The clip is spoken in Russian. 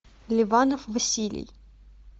ливанов василий